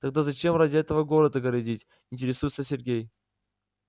тогда зачем ради этого город огородить интересуется сергей